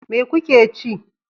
Me kuke ci?